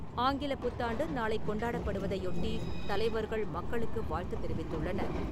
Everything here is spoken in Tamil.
ஆங்கிலப் புத்தாண்டு நாளை கொண்டாடப்படுவதையொட்டி, தலைவர்கள் மக்களுக்கு வாழ்த்து தெரிவித்துள்ளனர்.